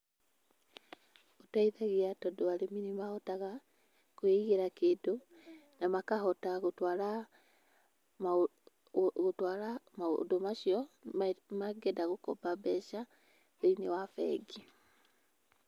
Gũteithagia tondũ arĩmi nĩ mahotaga kwĩigĩra kĩndũ na makahota gũtwara, gũtwara maũndũ macio mangĩenda gũkomba mbeca thĩiniĩ wa bengi.